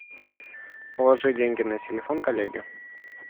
положи деньги на телефон коллеги